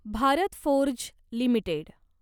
Bharat Forge limited